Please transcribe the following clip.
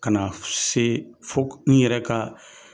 Ka na se, fo n yɛrɛ ka